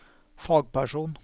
fagperson